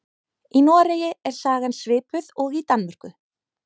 Í Noregi er sagan svipuð og í Danmörku.